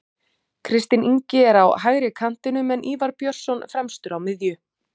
Kristinn Ingi er á hægri kantinum en Ívar Björnsson fremstur á miðjunni.